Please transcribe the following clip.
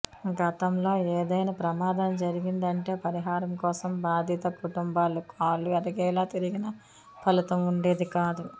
గతంలో ఏదైనా ప్రమాదం జరిగిందంటే పరిహారం కోసం బాధిత కుటుంబాలు కాళ్లు అరిగేలా తిరిగినా ఫలితం ఉండేది కాదు